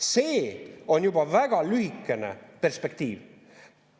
See on juba väga lühikene perspektiiv.